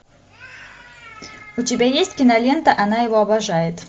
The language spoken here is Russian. у тебя есть кинолента она его обожает